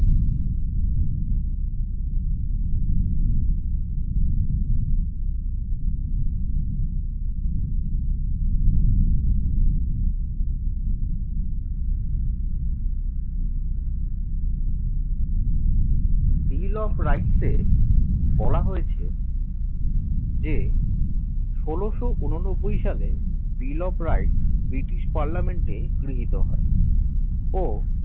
bill of rights এ বলা হয়েছে যে ষোলশ ঊননব্বই সালে bill of rights British parliament গৃহীত হয়